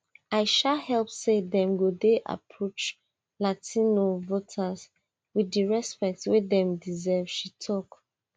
i sha hope say dem go dey approach latino voters wit di respect wey dem deserve she tok